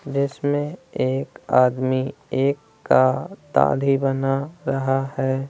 दृश्य में एक आदमी एक का दाढ़ी बना रहा है।